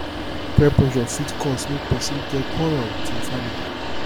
peer pressure fit cause mek pesin get quarrel wit im family